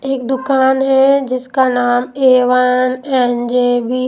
एक दुकान है जिसका नाम ए_वन_एन_जे_वी --